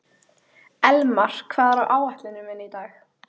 Elmar, hvað er á áætluninni minni í dag?